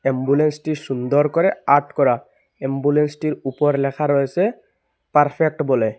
এম্বুলেন্সটি সুন্দর করে আট করা এম্বুলেন্সটির উপর ল্যাখা রয়েসে পারফেক্ট বলে।